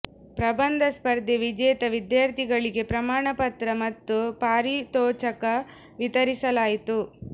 ಪ್ರಬಂಧ ಸ್ಪರ್ಧೆ ವಿಜೇತ ವಿದ್ಯಾರ್ಥಿಗಳಿಗೆ ಪ್ರಮಾಣ ಪತ್ರ ಮತ್ತು ಪಾರಿತೋಷಕ ವಿತರಿಸಲಾಯಿತು